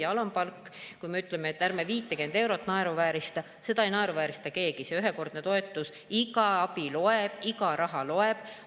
Ja alampalk, kui me ütleme, et ärme 50 eurot naeruvääristame – seda ei naeruväärista keegi, see ühekordne toetus, iga abi loeb, iga raha loeb.